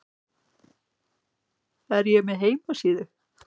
Er ég með heimasíðu?